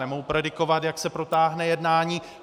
Nemohu predikovat, jak se protáhne jednání.